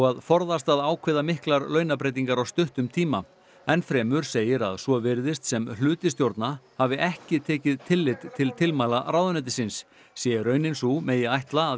að forðast að ákveða miklar launabreytingar á stuttum tíma enn fremur segir að svo virðist sem hluti stjórna hafi ekki tekið tillit til tilmæla ráðuneytisins sé raunin sú megi ætla að